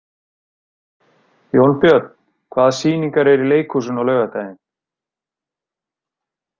Jónbjörn, hvaða sýningar eru í leikhúsinu á laugardaginn?